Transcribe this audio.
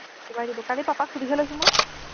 কোবাই দিব, কালি পাপাক সুধিহে লৈছো মই